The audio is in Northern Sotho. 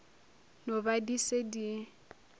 no ba di se di